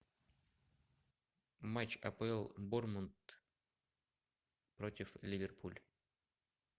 матч апл борнмут против ливерпуль